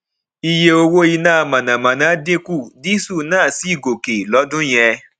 iye owó iná mànàmáná dínkù díísù náà sì gòkè lọdún yẹn